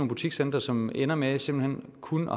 butikscentre som ender med simpelt hen kun